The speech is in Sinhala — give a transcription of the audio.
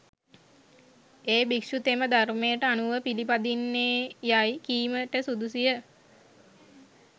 ඒ භික්‍ෂුතෙම ධර්‍මයට අනුව පිළිපදින්නේයයි කීමට සුදුසුය